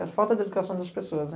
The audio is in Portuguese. É a falta de educação das pessoas.